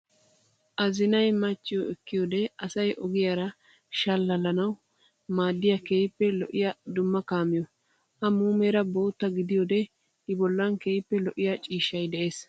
Azinayi machchiyo ekkiyoode asayi ogiyaara shallalanawu maaddiyaa keehippe lo'iyaa dumma kaamiyoo. A muumeera bootta gidiyoode I bollan keehippe lo'iyaa ciishshayi des.